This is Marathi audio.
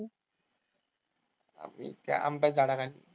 आम्ही काय आंब्याच्या झाडाखाली.